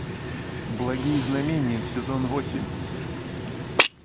благие знамения сезон восемь